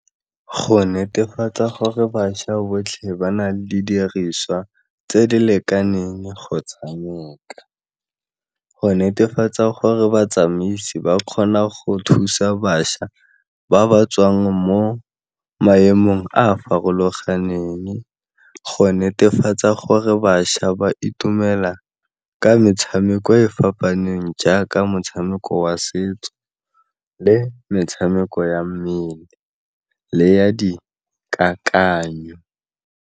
Go netefatsa gore bašwa botlhe ba na le didiriswa tse di lekaneng kgotsa , go netefatsa gore batsamaisi ba kgona go thusa bašwa ba ba tswang mo maemong a a farologaneng, go netefatsa gore bašwa ba itumela ka metshameko e fapaneng jaaka motshameko wa setso le metshameko ya mmele le ya dikakanyo.